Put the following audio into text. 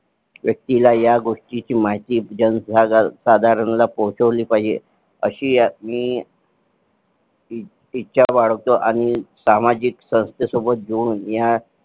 व्यक्तीला ह्या गोष्टीची माहिती जनसाधारण ला पोहचवली पाहिजे अशी मी इच्छा बाळगतो आणि सामाजिक सोबत बोलून ह्या